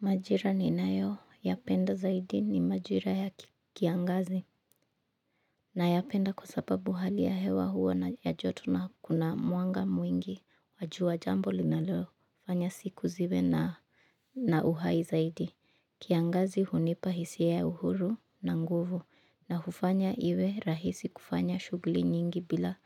Majira ninayoyapenda zaidi ni majira ya kiangazi. Nayapenda kwa sababu hali ya hewa huwa ya joto na kuna mwanga mwingi wa jua jambo linalofanya siku ziwe na uhai zaidi kiangazi hunipa hisia ya uhuru na nguvu na hufanya iwe rahisi kufanya shughuli nyingi bila